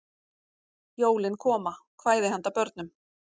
Jólin Koma: Kvæði handa börnum.